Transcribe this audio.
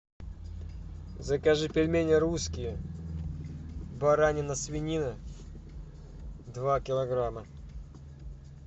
закажи пельмени русские баранина свинина два килограмма